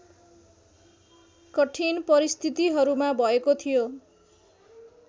कठिन परिस्थितिहरूमा भएको थियो